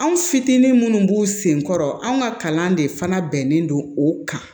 Anw fitinin munnu b'u senkɔrɔ anw ka kalan de fana bɛnnen don o kan